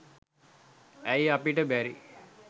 ඇයි අපිට බැරි